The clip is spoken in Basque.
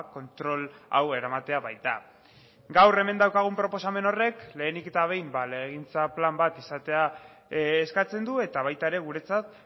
kontrol hau eramatea baita gaur hemen daukagun proposamen horrek lehenik eta behin legegintza plan bat izatea eskatzen du eta baita ere guretzat